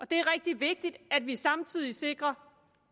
det er rigtig vigtigt at vi samtidig sikrer